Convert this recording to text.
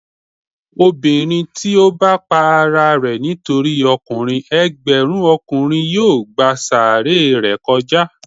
Obinrin ti o bá pá àrà rẹ nitori ọkùnrin, ẹgbẹrun Ọkùnrin yóò gbá orí sàáré rẹ kòjá.